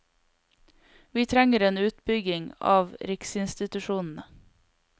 Vi trenger en utbygging av riksinstitusjonene.